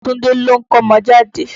Túndé ló ń kọ́mọjáde.